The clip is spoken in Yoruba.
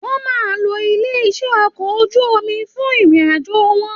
Wọn máa n ló ilé iṣẹ okọ̀ ojú omi fún ìrìn àjò wọn.